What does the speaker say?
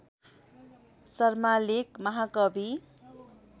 शर्माले महाकवि